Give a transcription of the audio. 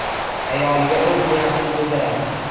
Ayoliga o‘z niyatini bildiradi.